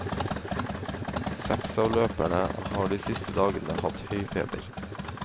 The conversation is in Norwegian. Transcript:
Seks av løperne har de siste dagene hatt høy feber.